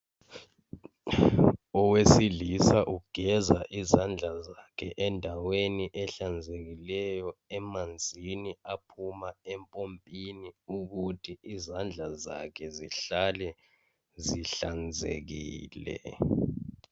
Owesilisa ugeza ezandla zakhe endaweni ehlanzekileyo emanzini aphuma empompini ukuthi izandla zakhe zihale zihlanekile